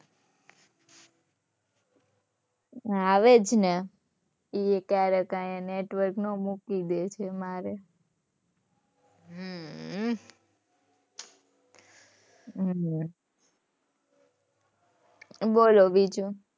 આવે જ ને. એય ક્યારેક